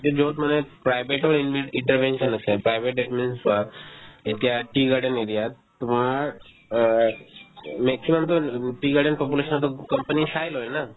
private ৰ intervention আছে private ‌ চোৱা এতিয়া tea garden area ত তোমাৰ অ maximum তো tea garden population তোক company চাই লই না